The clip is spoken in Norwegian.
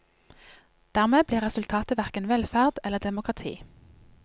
Dermed blir resultatet verken velferd eller demokrati.